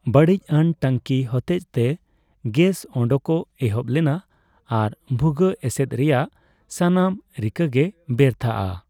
ᱵᱟᱹᱲᱤᱡᱽ ᱟᱱ ᱴᱟᱹᱝᱠᱤ ᱦᱚᱛᱮᱡᱛᱮ ᱜᱮᱥ ᱳᱰᱳᱠᱚᱜ ᱮᱦᱚᱵ ᱞᱮᱱᱟ ᱟᱨ ᱵᱷᱩᱜᱟᱹᱜ ᱮᱥᱮᱫ ᱨᱮᱭᱟᱜ ᱥᱟᱱᱟᱢ ᱨᱤᱠᱟᱹᱜᱮ ᱵᱮᱨᱛᱷᱟᱜᱼᱟ ᱾